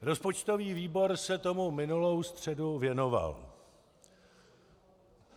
Rozpočtový výbor se tomu minulou středu věnoval.